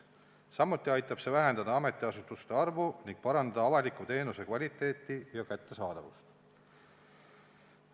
Samuti aitab see vähendada ametiasutuste arvu ning parandada avaliku teenuse kvaliteeti ja kättesaadavust.